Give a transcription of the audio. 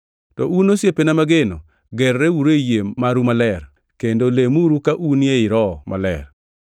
To un, osiepena mageno, gerreuru e yie maru maler, kendo lemuru ka un ei Roho Maler.